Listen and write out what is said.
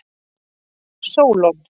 Sólon